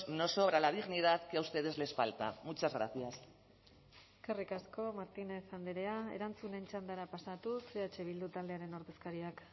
nos sobra la dignidad que a ustedes les falta muchas gracias eskerrik asko martínez andrea erantzunen txandara pasatuz eh bildu taldearen ordezkariak